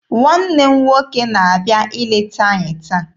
Nwanne nne m nwoke na-abịa ileta anyị taa.